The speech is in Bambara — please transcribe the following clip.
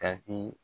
Ka di